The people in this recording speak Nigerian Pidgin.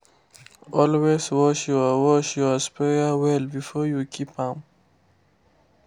always wash your wash your sprayer well before you keep am.